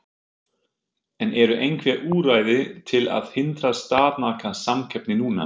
En eru einhver úrræði til að hindra staðnaða samkeppni núna?